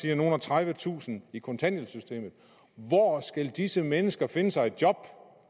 er nogle og tredive tusinde i kontanthjælpssystemet hvor skal disse mennesker så finde sig et job